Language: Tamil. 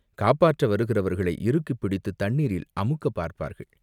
காப்பாற்ற வருகிறவர்களை இறுக்கிப் பிடித்துத் தண்ணீரில் அமுக்கப் பார்ப்பார்கள்.